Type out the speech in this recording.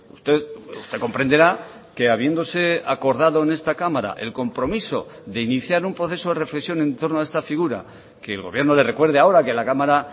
usted comprenderá que habiéndose acordado en esta cámara el compromiso de iniciar un proceso de reflexión en torno a esta figura que el gobierno le recuerde ahora que la cámara